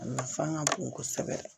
A nafa ka bon kosɛbɛ